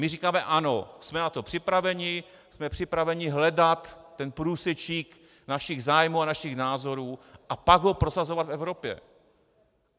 My říkáme ano, jsme na to připraveni, jsme připraveni hledat ten průsečík našich zájmů a našich názorů a pak ho prosazovat v Evropě.